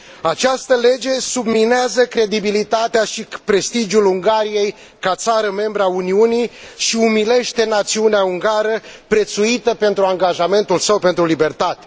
Această lege subminează credibilitatea și prestigiul Ungariei ca țară membră a Uniunii și umilește națiunea ungară, prețuită pentru angajamentul său pentru libertate.